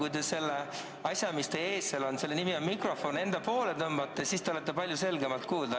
Kui te selle asja, mis seal teie ees on – selle nimi on mikrofon – enda poole tõmbate, siis te olete palju selgemalt kuulda.